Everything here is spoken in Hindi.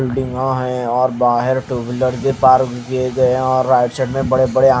और बहार टू व्हीलर भी पार्क की गयी है और आईड साइड में बड़े बड़े --